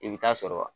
I bɛ taa sɔrɔ